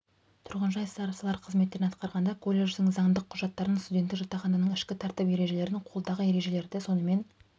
тұрғын жай старосталары қызметтерін атқарғанда колледждің заңдық құжаттарын студенттік жатақхананың ішкі тәртіп ережелерін қолдағы ережелерді сонымен